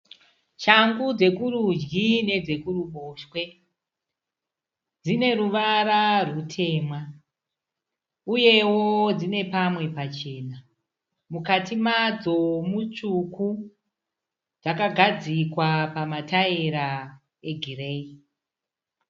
Shangu dzekurudyi nedzekuruboshwe. Dzineruvara rutema uyewo dzinepamwe pachena. Mukati madzo mutsvuku dzakagadzikwa pamataira egireyi.